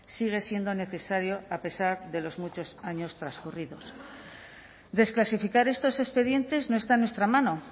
sigue siendo necesario a pesar de los muchos años transcurridos desclasificar estos expedientes no está en nuestra mano